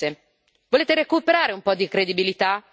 Perché a parole siete tutti bravi a fare promesse.